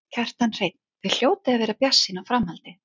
Kjartan Hreinn: Þið hljótið að vera bjartsýn á framhaldið?